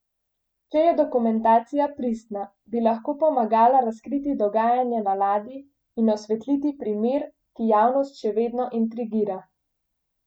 Če je dokumentacija pristna, bi lahko pomagala razkriti dogajanje na ladji in osvetliti primer, ki javnost še vedno intrigira.